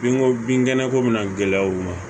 Bin ko binkɛnɛ ko bɛna gɛlɛya u ma